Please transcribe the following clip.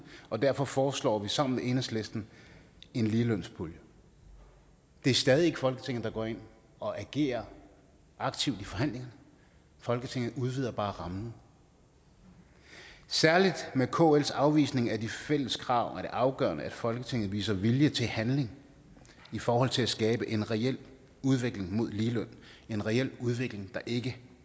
og derfor foreslår vi sammen med enhedslisten en ligelønspulje det er stadig ikke folketinget der går ind og agerer aktivt i forhandlingerne folketinget udvider bare rammen særlig med kls afvisning af de fælles krav er det afgørende at folketinget viser vilje til handling i forhold til at skabe en reel udvikling mod ligeløn en reel udvikling der ikke